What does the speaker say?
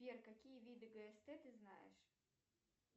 сбер какие виды гст ты знаешь